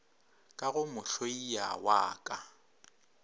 ka go mohlaia wa ka